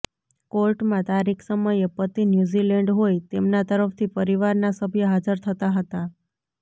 કોર્ટમાં તારીખ સમયે પતિ ન્યૂઝીલેન્ડ હોય તેમના તરફથી પરિવારના સભ્ય હાજર થતાં હતા